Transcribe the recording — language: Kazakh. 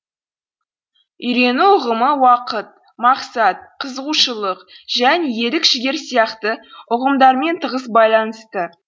үйрену ұғымы уақыт мақсат қызығушылық және ерік жігер сияқты ұғымдармен тығыз байланысты